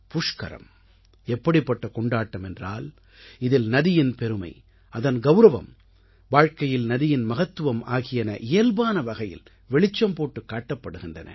புஷ்கரம் எப்படிப்பட்ட கொண்டாட்டம் என்றால் இதில் நதியின் பெருமை அதன் கௌரவம் வாழ்க்கையில் நதியின் மகத்துவம் ஆகியன இயல்பான வகையிலே வெளிச்சம் போட்டுக் காட்டப்படுகின்றன